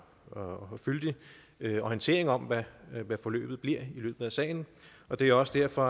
og fyldig orientering om hvad hvad forløbet bliver i løbet af sagen og det er også derfor